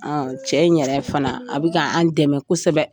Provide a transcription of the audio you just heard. cɛ in yɛrɛ fana a be ka an' dɛmɛ kosɛbɛ.